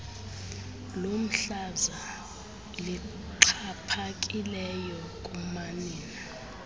lomhlaza lixhaphakileyo kumanina